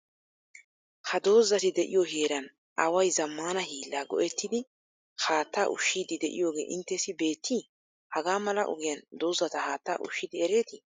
Ha dozati de'iyo heeran away zammaana hiillaa go"ettidi haattaa ushshiiddi de'iyogee inttessi beettii? Hagaa mala ogiyan dozata haattaa ushshidi ereetii?